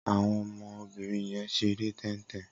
Awọn ọmọ óbìrín yèn ṣéré tẹntẹn